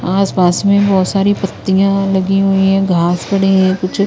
आसपास में बहुत सारी पत्तियां लगी हुई है घास पड़े हैं कुछ--